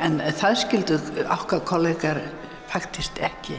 en það skildu okkar kollegar faktískt ekki